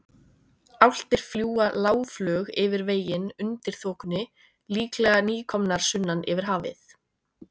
Álftir fljúga lágflug yfir veginn undir þokunni, líklega nýkomnar sunnan yfir hafið.